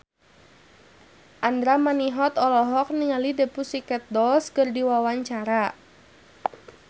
Andra Manihot olohok ningali The Pussycat Dolls keur diwawancara